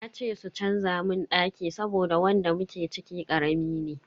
Na ce su canza mun daki saboda wanda muke ciki karami ne.